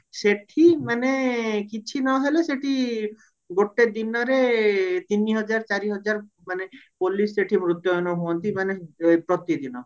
ସେଠି ମାନେ କିଛି ନହେଲେ ସେଠି ଗୋଟେ ଦିନରେ ତିନି ହଜାର ଚାରି ହଜାର ମାନେ police ସେଠି ହୁଅନ୍ତି ମାନେ ପ୍ରତିଦିନ